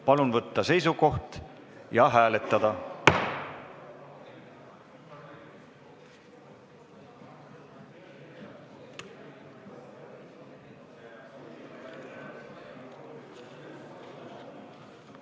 Palun võtta seisukoht ja hääletada!